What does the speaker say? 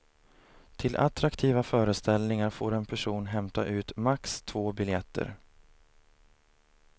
Till attraktiva föreställningar får en person hämta ut max två biljetter.